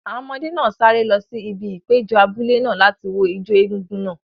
Àwọn ọmọdé náà sáré lọ sí ibi ìpéjọ abúlé náà láti wo ijó egúngún náà.